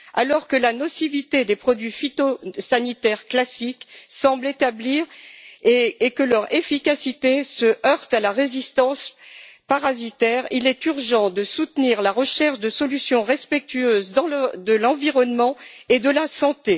Alors que la nocivité des produits phytosanitaires classiques semble établie et que leur efficacité se heurte à la résistance parasitaire, il est urgent de soutenir la recherche de solutions respectueuses de l'environnement et de la santé.